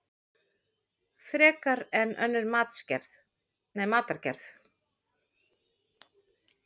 Frekar en önnur matargerð.